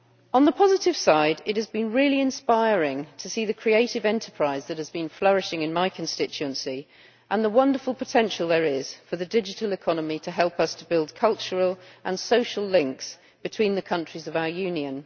On the positive side it has been really inspiring to see the creative enterprise that has been flourishing in my constituency and the wonderful potential there is for the digital economy to help us to build cultural and social links between the countries of our Union.